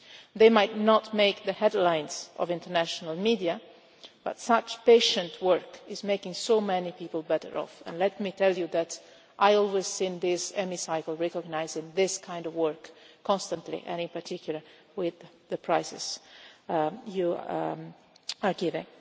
They might not make the headlines in the international media, but such patient work is making so many people better off. Let me tell you that I appreciate this House recognising this kind of work constantly, in particular with the prizes you give.